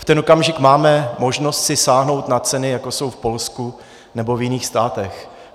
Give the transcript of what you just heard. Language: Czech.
V ten okamžik máme možnost si sáhnout na ceny, jako jsou v Polsku nebo v jiných státech.